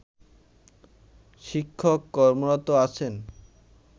শিক্ষক কর্মরত আছেন